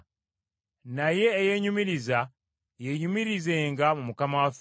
Naye eyeenyumiriza yeenyumirizenga mu Mukama waffe;